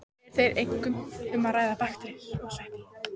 Er þar einkum um að ræða bakteríur og sveppi.